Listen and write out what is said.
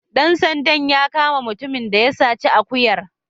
Dan sandan ya kama mutumin da ya saci akuyar.